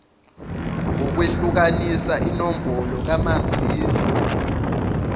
ngokwehlukanisa inombolo kamazisi